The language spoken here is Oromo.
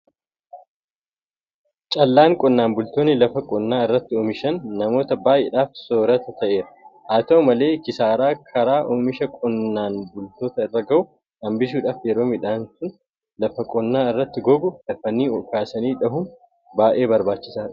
Callaan qonnaan bultoonni lafa qonnaa irratti oomishan namoota baay'eedhaaf soorrata ta'eera. Haata'u malee kisaaraa karaa oomishaa qonnaan bultoota irra gahu hambisuudhaaf yeroo midhaan sun lafa qonnaa irratti gogu dafanii kaasanii dhahuun baay'ee barbaachisaadha.